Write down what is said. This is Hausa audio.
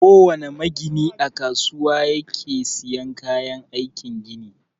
Kowana magini a kasuwa yake siyan kayan aikin gini.